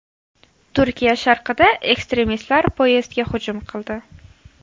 Turkiya sharqida ekstremistlar poyezdga hujum qildi.